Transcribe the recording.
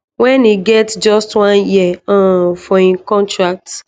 wen e get just one year um for im contract